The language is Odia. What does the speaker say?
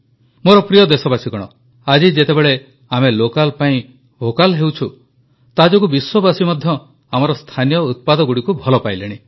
ମୋର ପ୍ରିୟ ଦେଶବାସୀଗଣ ଆଜି ଯେତେବେଳେ ଆମେ ଲୋକାଲ ପାଇଁ ଭୋକାଲ ହେଉଛୁ ତା ଯୋଗୁଁ ବିଶ୍ୱବାସୀ ମଧ୍ୟ ଆମର ସ୍ଥାନୀୟ ଉତ୍ପାଦଗୁଡ଼ିକୁ ଭଲ ପାଇଲେଣି